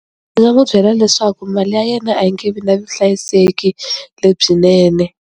Ndzi nga n'wi byela leswaku mali ya yena a yi nge vi na vuhlayiseki lebyinene.